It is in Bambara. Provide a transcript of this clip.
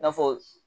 I n'a fɔ